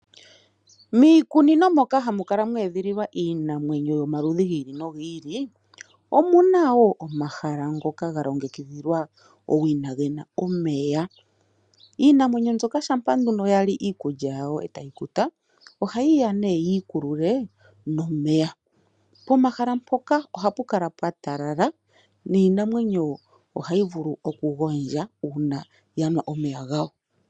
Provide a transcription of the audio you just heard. Miikunino moka hamu kala mwe edhililwa iinamwenyo yomaludhi gi ili nogi ili, omuna wo omahala ngoka ga longekidhilwa owina gena omeya. Iinamwenyo mbyoka shampa nduno yali iikulya yawo etayi kuta ohayi ya nee yi ikulule nomeya. Pomahala mpoka ohapu kala pwa talala niinamwenyo ohayi vulu okugondja uuna ya nwa omeya gawo.